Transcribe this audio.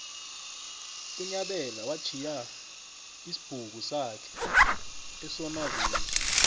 unyabela watjhiya isibhuku sakhe esonaville